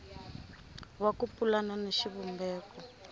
wa ku pulana na xivumbeko